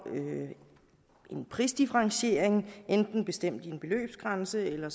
en prisdifferentiering enten bestemt ved en beløbsgrænse eller